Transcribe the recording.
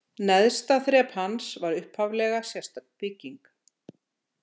Neðsta þrep hans var upphaflega sérstök bygging.